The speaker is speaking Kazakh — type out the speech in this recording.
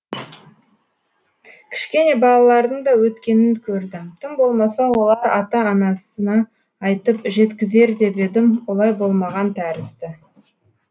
кішкене балалардың да өткенін көрдім тым болмаса олар ата анасына айтып жеткізер деп едім олай болмаған тәрізді